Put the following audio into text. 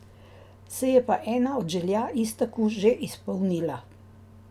Se je pa ena od želja Iztoku že izpolnila.